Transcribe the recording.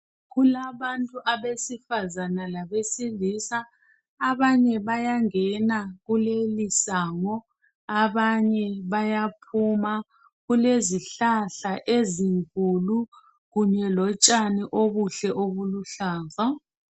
Kulabantu abesifazana labesilisa, abanye bayangena kulelisango, abanye bayaphuma. Kulezihlahla ezinkulu kunye lotshani obuhle obuluhlaza.